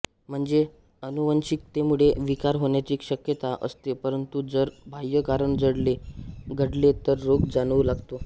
म्हणजे आनुवंशिकतेमुळे विकार होण्याची शक्यता असते परंतु जर बाह्य कारण घडले तर रोग जाणवू लागतो